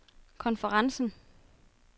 konferencen